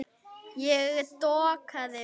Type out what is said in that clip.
Ég dokaði við.